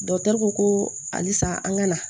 ko halisa an ga na